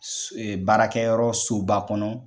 baarakɛyɔrɔ soba kɔnɔ